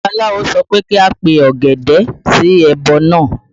Babaláwo sọ pé kí a pe ògèdè sí ẹbọ náà